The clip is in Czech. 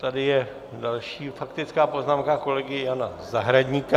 Tady je další faktická poznámka kolegy Jana Zahradníka.